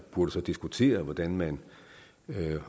burde diskutere hvordan man